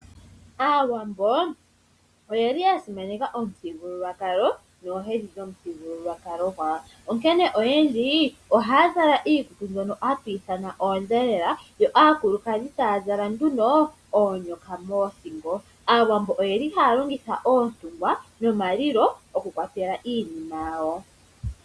Aawambo oyeli ya simaneka omuthigululwakalo noohedhi dhomuthigululwakalo gwawo. Onkene oyendji ohaya zala iikutu mbyono hatu ithana oondhelela yo aakulukadhi taya zala nduno oonyoka moothingo. Aawambo oyeli haya longitha oontungwa nomalilo okukwatela mo iinima yawo.